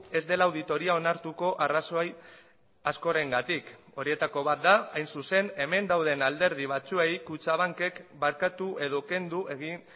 ez dela auditoria onartuko arrazoi askorengatik horietako bat da hain zuzen hemen dauden alderdi batzuei kutxabankek barkatu edo kendu egin